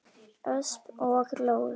Ösp og Leó.